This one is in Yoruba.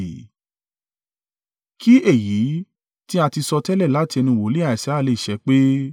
Kí èyí tí a ti sọtẹ́lẹ̀ láti ẹnu wòlíì Isaiah lè ṣẹ pé,